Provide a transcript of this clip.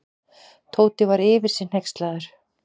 Tóti var yfir sig hneykslaður.